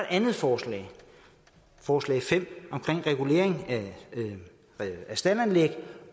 andet forslag forslag fem om regulering af staldanlæg